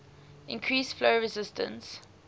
increase flow resistance